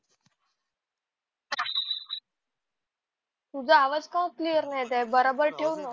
तुझा आवाज का क्लेअर नाही येत आहे बराबर ठेव ना